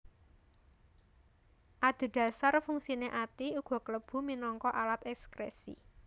Adhedhasar fungsiné ati uga klebu minangka alat èkskrèsi